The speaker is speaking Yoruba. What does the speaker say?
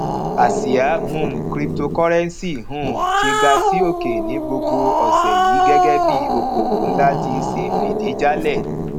àsía um cryptocurrency um ti ga sí òkè ní gbogbo òsè yìí gégé bí i okòwò nlá ti ṣe fìdí jálè